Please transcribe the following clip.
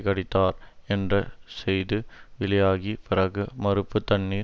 கடித்தார் என்ற செய்து வெளியாகி பிறகு மறுப்பு தண்ணீர்